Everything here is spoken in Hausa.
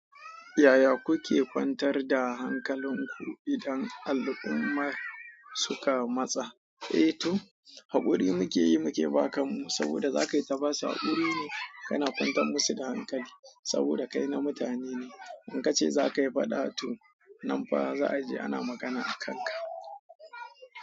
Yaya kuke kwantar da hankalinku idan al'ummar suka matsa? Eh to, haƙuri muke yi muke ba kanmu saboda za ka yi ta basu haƙuri ne kana kwantar musu da hankali saboda kai na mutane ne. In ka ce za ka yi faɗa to nan fa za a je ana magana a kanka.